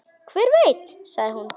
Hver veit, sagði hún.